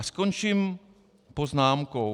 A skončím poznámkou.